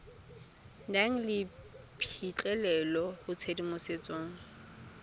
nang le phitlhelelo go tshedimosetso